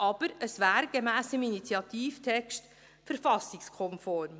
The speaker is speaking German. Aber gemäss dem Initiativtext wäre es verfassungskonform.